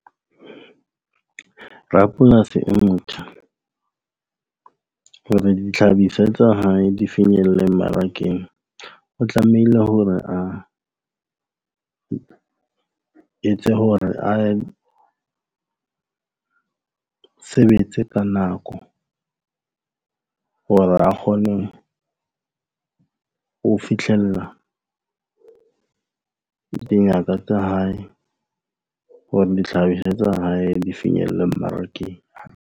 Rapolasi e motjha hore dihlahiswa tsa hae di finyelle mmarakeng, o tlamehile hore a etse hore a sebetse ka nako hore a kgone ho fihlella dingaka tsa hae hore dihlahiswa tsa hae di finyelle mmarakeng.